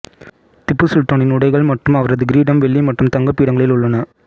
திப்பு சுல்தானின் உடைகள் மற்றும் அவரது கிரீடம் வெள்ளி மற்றும் தங்க பீடங்களில் உள்ளன